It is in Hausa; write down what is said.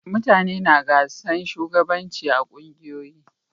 Mutane na gasan shugabanci a ƙungiyoyi.